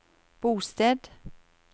bosted